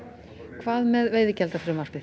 hvað með veiðigjaldafrumvarpið